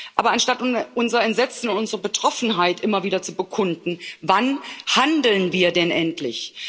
Aber anstatt unser Entsetzen, unsere Betroffenheit immer wieder zu bekunden, wann handeln wir denn endlich?